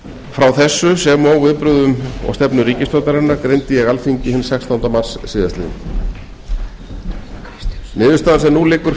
frá þessu sem og viðbrögðum og stefnu ríkisstjórnarinnar greindi ég alþingi hinn sextánda mars síðastliðinn niðurstaðan sem nú liggur